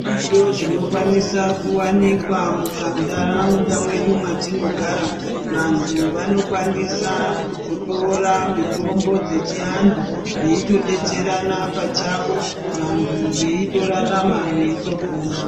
Zviriyo zvinokwanisa kuwanikwa mumanhataunda mwedu mwatinogara vanthu vanokwanisa kutotora mitombo dzechianthu veitodetserana pachavo vanthu veitorarama veitopona.